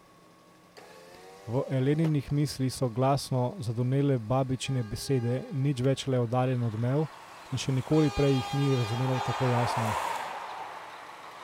V Eleninih mislih so glasno zadonele babičine besede, nič več le oddaljen odmev, in še nikoli prej jih ni razumela tako jasno.